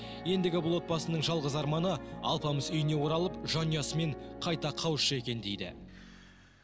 ендігі бұл отбасының жалғыз арманы алпамыс үйіне оралып жанұясымен қайта қауышса екен дейді